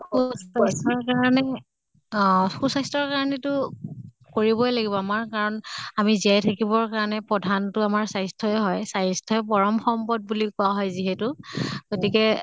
কাৰণে অহ সুস্বাস্থ্য়ৰ কাৰণেটো কৰিবই লাগিব আমাৰ কাৰণ আমি জীয়াই থাকিবৰ কাৰণে প্ৰধান টো আমাৰ স্বাস্থ্য়ই হয়। স্বাস্থ্য়ই পৰম সম্পদ বুলি কোৱা হয় যিহেতু। গতিকে